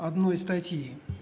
одной статьи